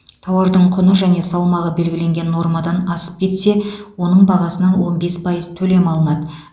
тауардың құны және салмағы белгіленген нормадан асып кетсе оның бағасынан он бес пайыз төлем алынады